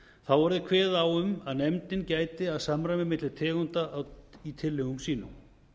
þá verði kveðið á um að nefndin gæti að samræmi milli tegunda í tillögum sínum